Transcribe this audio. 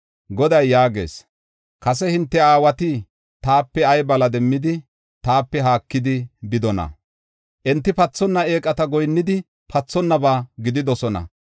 Goday yaagees; kase hinte aawati taape ay bala demmidi taape haakidi bidonaa? Enti pathonna eeqata goyinnidi pathonnaba gididosona.